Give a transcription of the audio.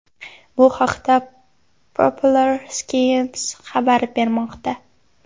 Bu haqda Popular Science xabar bermoqda .